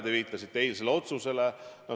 Te viitasite eilsele otsusele.